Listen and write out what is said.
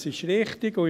Dies ist richtig.